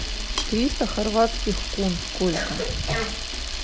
триста хорватских кун сколько